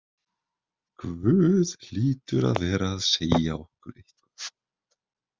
Guð hlýtur að vera að segja okkur eitthvað.